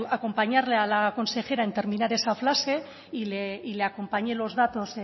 acompañarle a la consejera en terminar esa frase y le acompañé los datos